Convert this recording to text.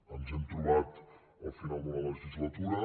ens hem trobat al final de la legislatura